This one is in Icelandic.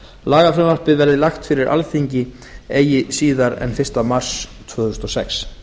lagafrumvarpið verði lagt fyrir alþingi eigi síðar en fyrsta mars tvö þúsund og sex